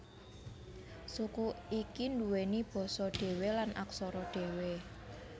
Suku iki nduweni basa dhewe lan aksara dhewe